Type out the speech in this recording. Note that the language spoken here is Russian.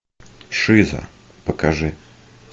шиза покажи